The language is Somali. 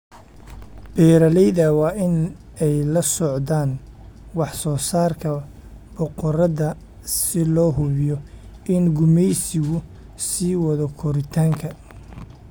Beeralayda waa in ay la socdaan wax soo saarka boqorada si loo hubiyo in gumaysigu sii wado koritaanka.